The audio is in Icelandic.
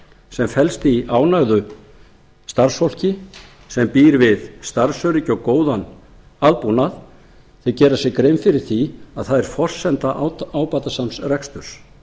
sem felst í ánægðu starfsfólki sem býr við starfsöryggi og góðan aðbúnað en gera sér grein fyrir því að það er forsenda ábatasams reksturs